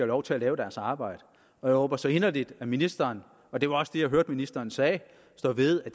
lov til at lave deres arbejde jeg håber så inderligt at ministeren og det var også det jeg hørte ministeren sagde står ved at